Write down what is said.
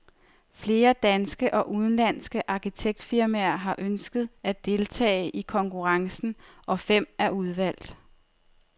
Flere danske og udenlandske arkitektfirmaer har ønsket at deltage i konkurrencen, og fem er udvalgt.